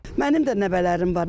Mənim də nəvələrim var.